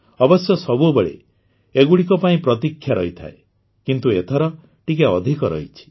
ଅବଶ୍ୟ ସବୁବେଳେ ଏଗୁଡ଼ିକ ପାଇଁ ପ୍ରତୀକ୍ଷା ରହିଥାଏ କିନ୍ତୁ ଏଥର ଟିକିଏ ଅଧିକ ରହିଛି